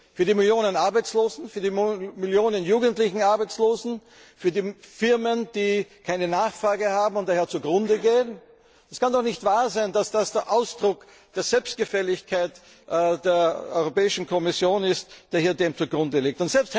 Für die Millionen Arbeitslosen, für die Millionen jugendlichen Arbeitslosen, für die Firmen, die keine Nachfrage haben und daher zugrunde gehen? Es kann doch nicht wahr sein, dass es der Ausdruck der Selbstgefälligkeit der Kommission ist, der dem hier zugrunde liegt.